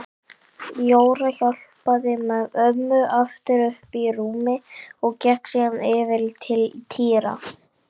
Jóra hjálpaði ömmu aftur upp í rúmið og gekk síðan yfir til Týra.